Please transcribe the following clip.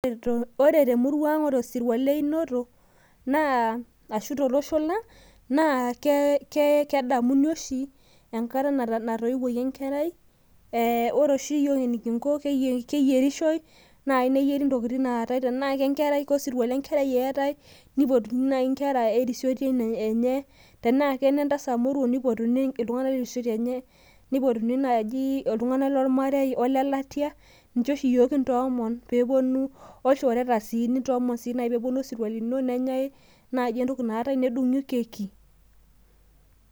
ore temurua ang naa ore osirua le inoto naa kedamuni oshi enkata natauwuaki enkerai , naa keyierishoi neyieri intokitin naa tae tenaa kosirua lenkerai nipotuni inkera erisioti enye, tenaa kene ntasat moruo nipotuni iltung'anak lerisioti enye, nipotuni iltung'anak lormarei welatia niche oshi iyiok kintoomon olchoreta nedung'i keki.